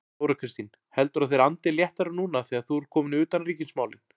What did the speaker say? Þóra Kristín: Heldurðu að þeir andi léttara núna þegar þú ert kominn í utanríkismálin?